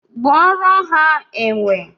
Gbuoro ha enwe